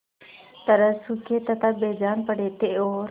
तरह सूखे तथा बेजान पड़े थे और